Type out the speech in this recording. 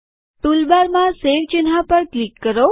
toolbar માં save ચિહ્ન પર ક્લિક કરો